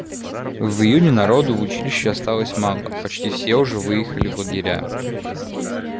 в июне народу в училище осталось мало почти все уже выехали в лагеря